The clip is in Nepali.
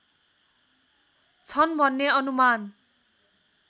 छन् भन्ने अनुमान